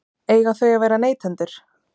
Eiga þau að vera neytendur?